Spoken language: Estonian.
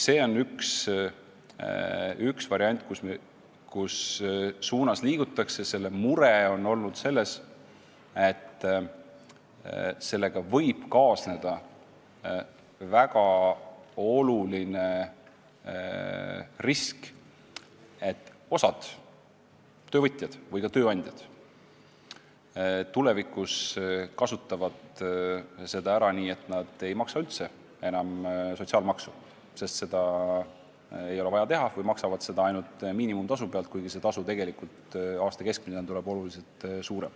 Mure on aga olnud selles, et säärase regulatsiooniga võib kaasneda väga suur risk, et osa töövõtjaid või ka tööandjaid tulevikus kasutab seda ära nii, et ei maksa üldse enam sotsiaalmaksu – seda ei ole ju vaja teha – või maksavad seda ainult miinimumtasu pealt, kuigi tasu aasta keskmisena tuleb märksa suurem.